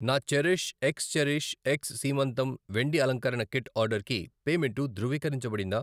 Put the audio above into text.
నా cherish X cherish X సీమంతం వెండి అలంకరణ కిట్ ఆర్డర్కి పేమెంటు ధృవీకరించబడిందా?